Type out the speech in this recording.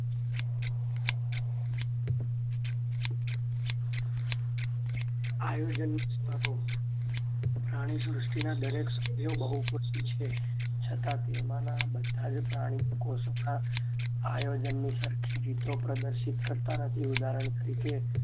આયોજન સ્તરો પ્રાણીસૃષ્ટિના દરેક સભ્યો બહુપૃસટી છે છતાં તેમના બધા જ પ્રાણી કોસમલા આયોજનની સરખી રીતો પ્રદર્શિત કરતા નથી ઉદાહરણ તરીકે